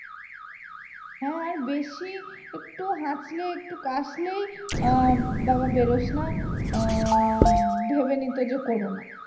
হ্যাঁ আর বেশি একটু হাঁচলে একটু কাশলেই আহ বাবা বেরোসনা উম ভেবে নিতো যে corona